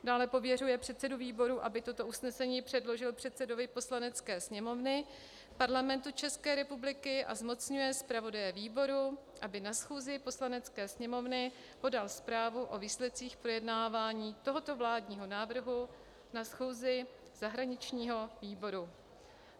Dále, pověřuje předsedu výboru, aby toto usnesení předložil předsedovi Poslanecké sněmovny Parlamentu České republiky, a zmocňuje zpravodaje výboru, aby na schůzi Poslanecké sněmovny podal zprávu o výsledcích projednávání tohoto vládního návrhu na schůzi zahraničního výboru.